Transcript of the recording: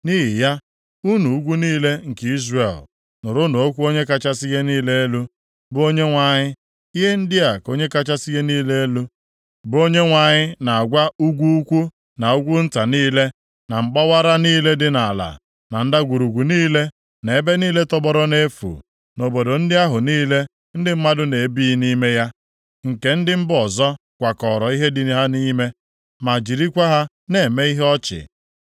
nʼihi ya, unu ugwu niile nke Izrel, nụrụnụ okwu Onye kachasị ihe niile elu, bụ Onyenwe anyị. Ihe ndị a ka Onye kachasị ihe niile elu, bụ Onyenwe anyị na-agwa ugwu ukwuu na ugwu nta niile, na mgbawara niile dị nʼala, na ndagwurugwu niile, na ebe niile tọgbọrọ nʼefu, na obodo ndị ahụ niile ndị mmadụ na-ebighị nʼime ya, nke ndị mba ọzọ kwakọọrọ ihe dị ha nʼime, ma jirikwa ha na-eme ihe ọchị.